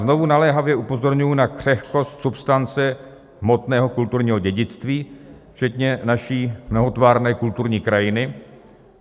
Znovu naléhavě upozorňuji na křehkost substance hmotného kulturního dědictví, včetně naší mnohotvárné kulturní krajiny.